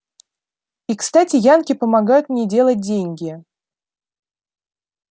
и кстати янки помогают мне делать деньги